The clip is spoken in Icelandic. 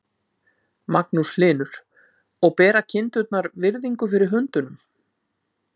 Magnús Hlynur: Og bera kindurnar virðingu fyrir hundunum?